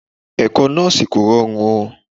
Ẹ̀kọ́ Nọ́ọ́sì kò rọrùn o.